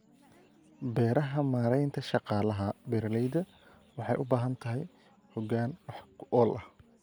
Beeraha Maaraynta shaqaalaha beeralayda waxay u baahan tahay hogaan wax ku ool ah.